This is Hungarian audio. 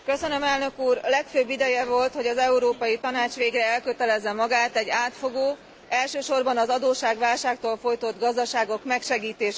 A legfőbb ideje volt, hogy az Európai Tanács végre elkötelezze magát egy átfogó, elsősorban az adósságválságtól fojtott gazdaságok megsegítése iránt.